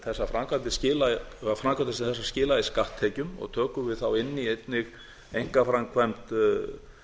hverju framkvæmdir sem þessar skila í skatttekjum og tökum við þá inn í einnig einkaframkvæmd